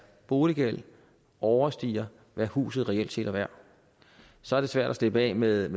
boliggæld overstiger hvad huset reelt set er værd så er det svært at slippe af med